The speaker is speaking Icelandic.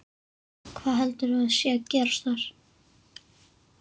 Hvað heldurðu að sé að gerast þar?